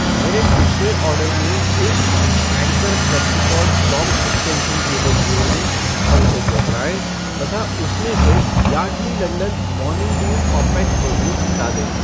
मेरे पिछले ऑर्डर में एक पीस एँकर फ़्लेक्सिकॉर्ड लॉन्ग एक्सटेंशन केबल जोड़ दें और उसे दोहराएँ तथा उसमें से Yardley London morning dew compact perfume हटा दें।